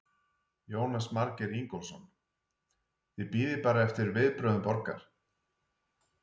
Jónas Margeir Ingólfsson: Þið bíðið bara eftir viðbrögðum borgar?